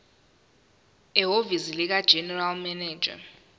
ehhovisi likaregional manager